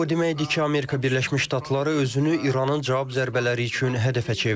Bu o deməkdir ki, Amerika Birləşmiş Ştatları özünü İranın cavab zərbələri üçün hədəfə çevirib.